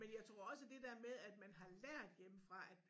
Men jeg tror også det der med at man har lært hjemmefra at